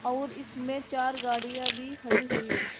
और इसमें चार गाड़ियां भी खड़ी हुई है।